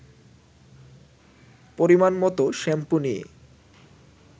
পরিমাণমত shampoo নিয়ে